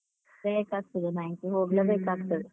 ಬೇಕಾಗ್ತದೆ bank ಇಗೆ.